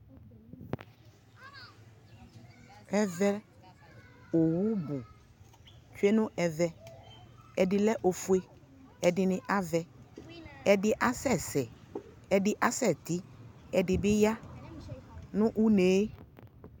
ɛvɛ ɔwʋ bʋ di twɛ nʋ ɛvɛ, ɛdi lɛ ɛƒʋɛ, ɛdini avɛ, ɛdi asɛsɛ, ɛdi asɛ tii, ɛdi bi ya nʋ ʋnɛɛ